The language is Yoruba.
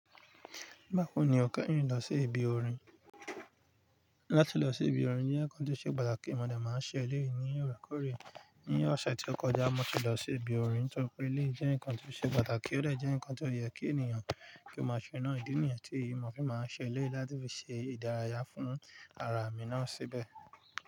Báwo ni o kẹ́yin lọ sí ibi orin? Láti lọ sí ibi orin jẹ́ nǹkan tó ṣe pàtàkì, mo de máa ń ṣe éléyì ní òrékóòrè. Ní ọ̀sẹ̀ tí ó kọjá, mo ti lọ sí ibi orin torí pé lé jẹ́ nǹkan tó ṣe pàtàkì, ó de jẹ́ nǹkan tó yẹ kí ènìyàn kí ó máa ṣe ńaá. Ìdí nìyẹn tí mo fi máa ń ṣe éléyì láti fi ṣe ìdárayá fún ara mi náà síbẹ̀.